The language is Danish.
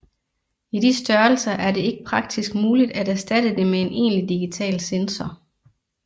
I de størrelser er det ikke praktisk muligt at erstatte det med en egentlig digital sensor